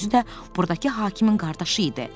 Özü də burdakı hakimin qardaşı idi.